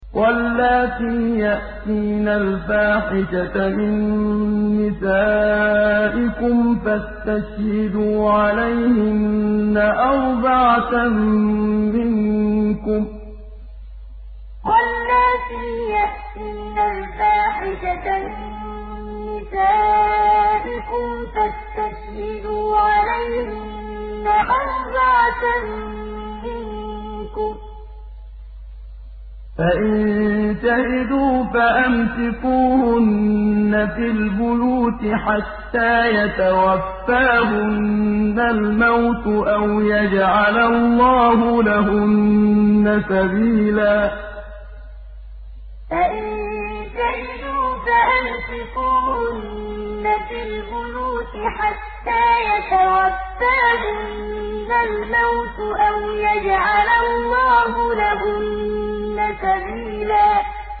وَاللَّاتِي يَأْتِينَ الْفَاحِشَةَ مِن نِّسَائِكُمْ فَاسْتَشْهِدُوا عَلَيْهِنَّ أَرْبَعَةً مِّنكُمْ ۖ فَإِن شَهِدُوا فَأَمْسِكُوهُنَّ فِي الْبُيُوتِ حَتَّىٰ يَتَوَفَّاهُنَّ الْمَوْتُ أَوْ يَجْعَلَ اللَّهُ لَهُنَّ سَبِيلًا وَاللَّاتِي يَأْتِينَ الْفَاحِشَةَ مِن نِّسَائِكُمْ فَاسْتَشْهِدُوا عَلَيْهِنَّ أَرْبَعَةً مِّنكُمْ ۖ فَإِن شَهِدُوا فَأَمْسِكُوهُنَّ فِي الْبُيُوتِ حَتَّىٰ يَتَوَفَّاهُنَّ الْمَوْتُ أَوْ يَجْعَلَ اللَّهُ لَهُنَّ سَبِيلًا